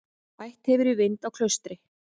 Bætt hefur í vind á Klaustri